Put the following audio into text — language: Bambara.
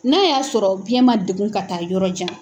N'a y'a sɔrɔ biyɛn man degun ka taa yɔrɔ jan